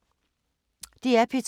DR P2